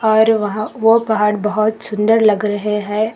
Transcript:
और वहां ओ पहाड़ बहोत सुंदर लग रहे हैं।